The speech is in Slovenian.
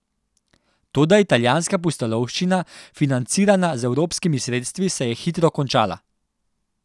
Toda italijanska pustolovščina, financirana z evropskimi sredstvi, se je hitro končala.